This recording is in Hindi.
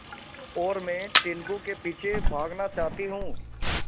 और मैं टीनगु के पीछे भागना चाहती हूँ